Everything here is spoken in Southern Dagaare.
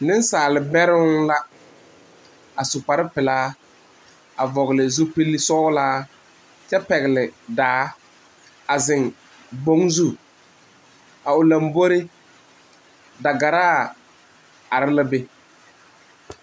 Nensaalbɛre la a su kpare peɛle vɔgle zupele sɔglaa kyɛ pegle daa a zeŋ boŋ zu a o lanbore dagara are la be.